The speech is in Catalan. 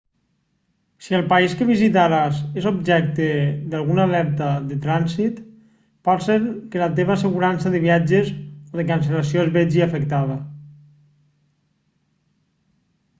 si el país que visitaràs és objecte d'alguna alerta de trànsit pot ser que la teva assegurança de viatges o de cancel·lació es vegi afectada